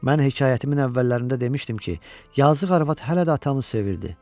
Mən hekayətimin əvvəllərində demişdim ki, yazıq arvad hələ də atamı sevirdi.